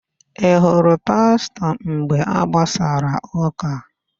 Ị hụrụ Pastọ mgbe a gbasara ụ́kà?